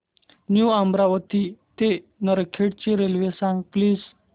new Amravati ते नरखेड ची railway सांग प्लीज